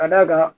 Ka d'a kan